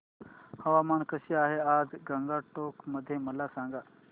हवामान कसे आहे आज गंगटोक मध्ये मला सांगा